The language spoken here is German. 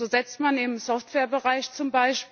So setzt man im Softwarebereich z.